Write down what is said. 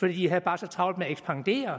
for de havde bare så travlt med at ekspandere